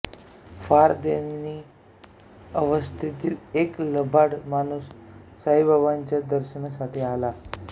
फार दयनीय अवस्थेतील एक लबाड माणूस साईबाबांच्या दर्शनासाठी आला